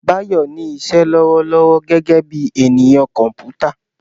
Bayo ní iṣẹ́ lọ́wọ́lọ́wọ́ gẹ́gẹ́ bí ènìyàn kọ̀m̀pútà.